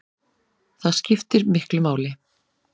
Það skiptir miklu máli